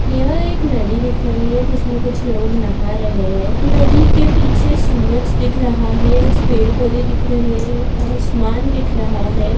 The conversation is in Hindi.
यह एक नदी दिख रही है जिसमें कुछ लोग नहा रहें हैं। नदी के पीछे सूरज दिख रहा है। कुछ पेड़-पौधे दिख रहें हैं आसमान दिख रहा है।